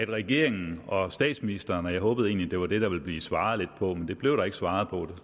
regeringen og statsministeren og jeg håbede egentlig at det var det der ville blive svaret lidt på men det blev der ikke svaret på